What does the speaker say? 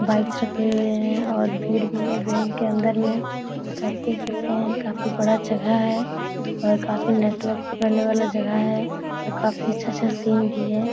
Bikes रखे हुए है और भीड़ भी है बैंक के अंदर में तथा आप देख सकते है काफी बड़ा जगह है और काफी नेटवर्क पकड़ने वाला जगह है और काफी अच्छा-अच्छा सीन भी है।